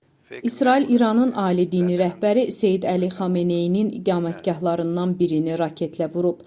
İsrail İranın ali dini rəhbəri Seyid Əli Xameneyinin iqamətgahlarından birini raketlə vurub.